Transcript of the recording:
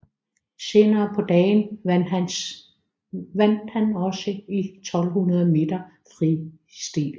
Senere på dagen vandt han også i 1200 meter fri stil